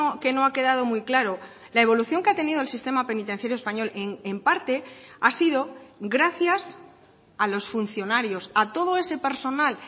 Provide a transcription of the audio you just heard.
que no ha quedado muy claro la evolución que ha tenido el sistema penitenciario español en parte ha sido gracias a los funcionarios a todo ese personal